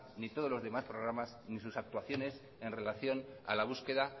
ni todos los demás programas ni sus actuaciones en relación a la búsqueda